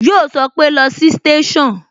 Yo sọpe "lọ sí station"